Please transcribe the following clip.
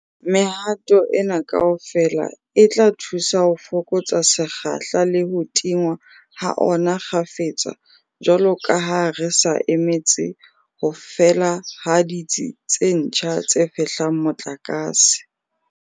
Mehato ena kaofela e tla thusa ho fokotsa sekgahla le ho tingwa ha ona kgafetsa jwalo ka ha re sa emetse ho fela ha ditsi tse ntjha tse fehlang motlakase.